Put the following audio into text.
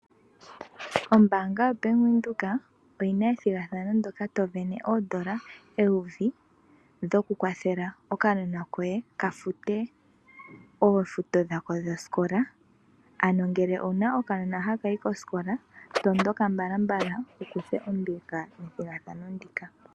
Ombaanga YoBank Windhoek oyina ethigathano ndyoka to sindana oondola eyovi, lyokukwathela okanona koye kafute oofuto dhosikola. Ano ngele owuna okanona haka yi kosikola, matuka mbalambala wukuthe ombinga methigathano ndika